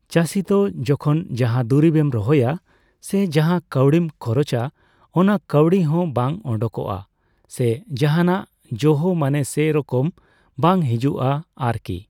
ᱪᱟᱹᱥᱤ ᱫᱚ ᱡᱚᱠᱷᱚᱱ ᱡᱟᱦᱟᱸ ᱫᱩᱨᱤᱵ ᱮᱢ ᱨᱚᱦᱚᱭᱟ ᱥᱮ ᱡᱟᱦᱟᱸ ᱠᱟᱣᱰᱤᱢ ᱠᱷᱚᱨᱚᱪᱟ ᱚᱱᱟ ᱠᱟᱣᱰᱤ ᱦᱚᱸ ᱵᱟᱝ ᱚᱸᱰᱳᱝᱚᱜᱼᱟ ᱥᱮ ᱡᱟᱦᱟᱸᱱᱟᱜ ᱡᱚᱦᱚ ᱢᱟᱱᱮ ᱥᱮ ᱨᱚᱠᱚᱢ ᱵᱟᱝ ᱦᱤᱡᱩᱜᱼᱟ ᱟᱨ ᱠᱤ ᱾